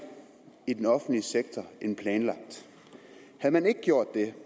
i den offentlige sektor end planlagt havde man ikke gjort det